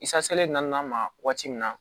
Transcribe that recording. I saselen na ma waati min na